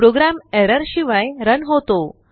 programme error शिवाय run होतो